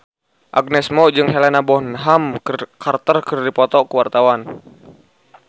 Agnes Mo jeung Helena Bonham Carter keur dipoto ku wartawan